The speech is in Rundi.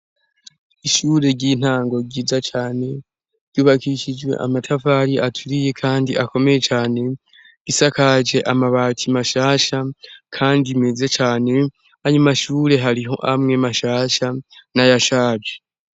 Ishure ry'intango ryiza cane ryubakishijwe amatafari aturiye kandi akomeye cane gisakajwe amabati mashasha kandi meze cane ayo mashure hariho amwe mashasha na yashaje.